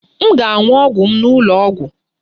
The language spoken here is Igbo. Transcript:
M ga-aṅụ ọgwụ m n'ụlọ ọgwụ